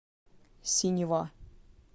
синева